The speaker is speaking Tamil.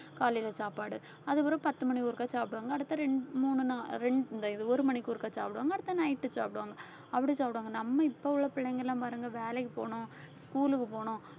காலைல சாப்பாடு அதுக்கப்புறம் பத்து மணிக்கு ஒருக்கா சாப்பிடுவாங்க அடுத்த ரெண்டு மூணு ரெண்~ இந்த இது ஒரு மணிக்கு ஒருக்கா சாப்பிடுவாங்க அடுத்த night சாப்பிடுவாங்க அப்படி சாப்பிடுவாங்க நம்ம இப்ப உள்ள பிள்ளைங்க எல்லாம் பாருங்க வேலைக்கு போகணும் school க்கு போகனும்